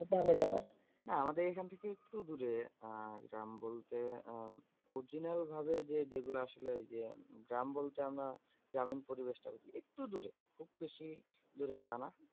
হ্যাঁ আমাদের এখন থেকে একটু দূরে। আহ গ্রাম বলতে আহ original ভাবে যে যেগুলো আসলে যে গ্রাম বলতে আমরা গ্রামীণ পরিবেশ টা একটু দূরে। খুব বেশি দূরে তা না?